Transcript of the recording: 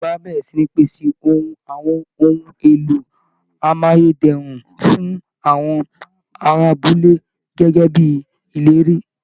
Ìjọba á bẹ̀rẹ̀ sí ní pèsè ohun àwọn ohun èlò amáyé dẹrùn fún àwọn ará abúlé gẹ́gẹ́ bí ìlérí